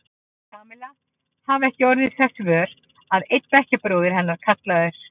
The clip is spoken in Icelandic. Kamilla hafði ekki orðið þess vör að einn bekkjarbróðir hennar, kallaður